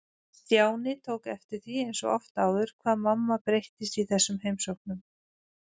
Stjáni tók eftir því eins og oft áður hvað mamma breyttist í þessum heimsóknum.